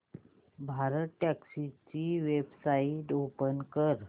भारतटॅक्सी ची website open कर